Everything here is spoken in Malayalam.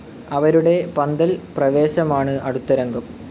അവരുടെ പന്തൽ പ്രവേശമാണ് അടുത്ത രംഗം.